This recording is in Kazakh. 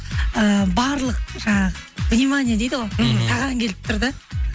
і барлық жаңағы внимание дейді ғой мхм саған келіп тұр да